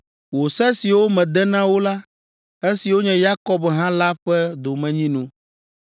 Wò se siwo mede na wo la, esiwo nye Yakob ha la ƒe domenyinu.